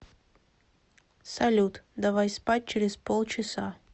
салют давай спать через полчаса